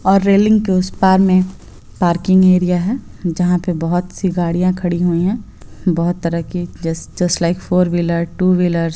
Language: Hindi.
और रेलिंग के उस पार में एक पार्किंग एरिया है जहाँ पे बहुत सी गाड़ियाँ खड़ी हुई हैं बहुत तरह की जैसे just like four wheeler two wheelers --